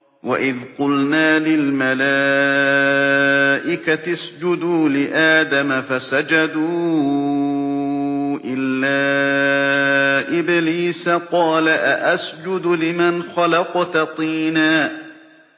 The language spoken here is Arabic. وَإِذْ قُلْنَا لِلْمَلَائِكَةِ اسْجُدُوا لِآدَمَ فَسَجَدُوا إِلَّا إِبْلِيسَ قَالَ أَأَسْجُدُ لِمَنْ خَلَقْتَ طِينًا